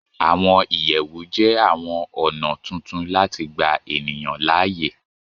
Àwọn ìyẹ̀wù jẹ́ àwọn ọ̀nà tuntun láti gbà ènìyàn láàyè